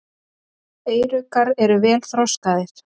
Eyruggar eru vel þroskaðir.